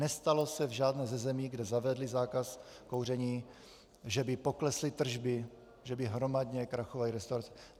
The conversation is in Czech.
Nestalo se v žádné ze zemí, kde zavedli zákaz kouření, že by poklesly tržby, že by hromadně krachovaly restaurace.